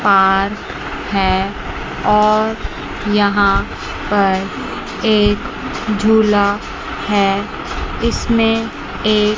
park है और यहां पर एक झूला है इसमें एक--